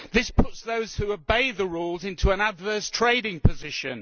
This puts those who obey the rules into an adverse trading position.